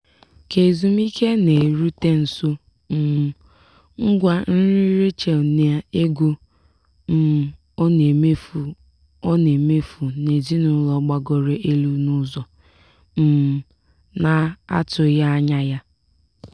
ka ezumiike na-erute nso um ngwa nri rachel na ego um ọ na-emefu ọ na-emefu n'ezinụlọ gbagoro elu n'ụzọ um na-atụghị anya ya.